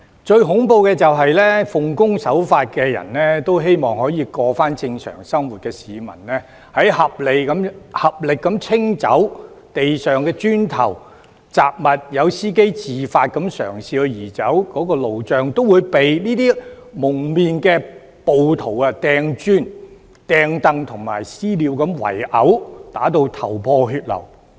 最恐怖的是，奉公守法、希望重回正常生活的市民，在合力清走地上的磚頭和雜物時，以及司機嘗試自發移走路障時，仍遭蒙面暴徒投擲磚頭、椅子和"私了"圍毆，打至頭破血流。